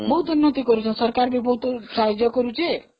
ବହୁତ ଉନ୍ନତି କରିଛନ୍ତି, ସରକାର ବି ବହୁତ ସାହାଜ୍ୟ କରିଛି